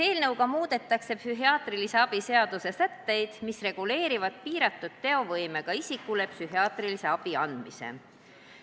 Eelnõuga muudetakse psühhiaatrilise abi seaduse sätteid, mis reguleerivad piiratud teovõimega isikule psühhiaatrilise abi andmist.